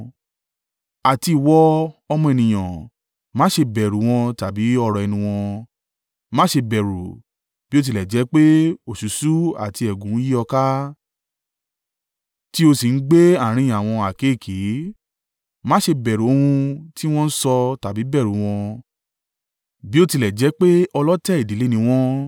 Àti ìwọ, ọmọ ènìyàn, má ṣe bẹ̀rù wọn tàbí ọ̀rọ̀ ẹnu wọn. Má ṣe bẹ̀rù, bí ó tilẹ̀ jẹ́ pé òṣùṣú àti ẹ̀gún yí ọ ká, tí o sì ń gbé àárín àwọn àkéekèe. Má ṣe bẹ̀rù ohun tí wọ́n ń sọ tàbí bẹ̀rù wọn, bí ó tilẹ̀ jẹ́ pé ọlọ̀tẹ̀ ìdílé ni wọ́n.